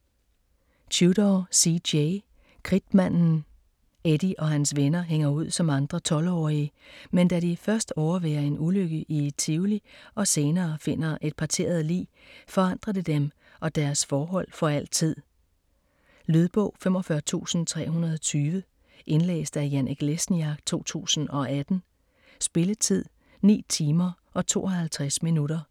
Tudor, C. J.: Kridtmanden Eddie og hans venner hænger ud som andre tolvårige, men da de først overværer en ulykke i et tivoli og senere finder et parteret lig, forandrer det dem og deres forhold for altid. Lydbog 45320 Indlæst af Janek Lesniak, 2018. Spilletid: 9 timer, 52 minutter.